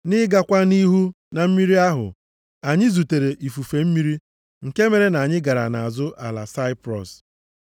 Nʼịgakwa nʼihu na mmiri ahụ, anyị zutere ifufe mmiri nke mere na anyị gara nʼazụ ala Saiprọs.